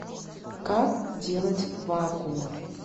как делать вакуум